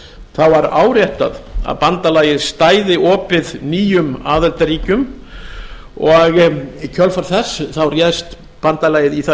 það var áréttað að bandalagið stæði opið nýjum aðildarríkjum og í kjölfar þess réðst bandalagið í það að